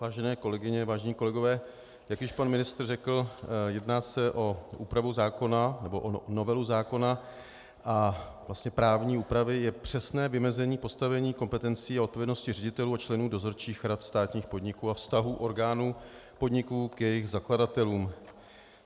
Vážené kolegyně, vážení kolegové, jak již pan ministr řekl, jedná se o úpravu zákona, nebo o novelu zákona, a vlastně právní úpravy je přesné vymezení postavení kompetencí a odpovědnosti ředitelů a členů dozorčích rad státních podniků a vztahů orgánů podniků k jejich zakladatelům.